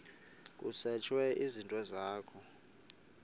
kusetshwe izinto zakho